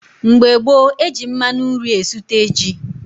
Mgbe gboo, eji mmanụ nri esute ji.